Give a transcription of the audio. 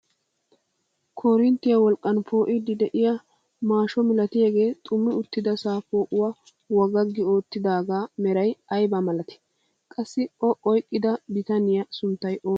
Korinttiyaa wolqqan poo'idi de'iyaa maashsho milatiyaagee xummi uttidasaa poo'uwaa wagaggi oottidagaa meray ayibaa malatii? qassi o oyqqida bitaniyaa sunttay oonee?